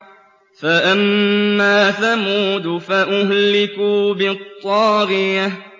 فَأَمَّا ثَمُودُ فَأُهْلِكُوا بِالطَّاغِيَةِ